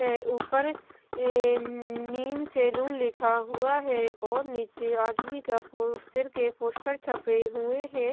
है ऊपर नीम सेलून लिखा हुआ है और नीचे आदमी का सिर के पोस्टर छपे हुए हैं।